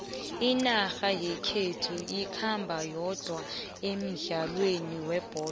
inarha yekhethu ikhamba yodwa emdlalweni webholo